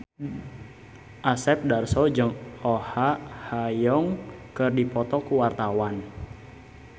Asep Darso jeung Oh Ha Young keur dipoto ku wartawan